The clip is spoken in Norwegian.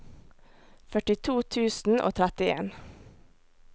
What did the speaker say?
førtito tusen og trettien